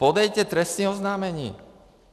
Podejte trestní oznámení!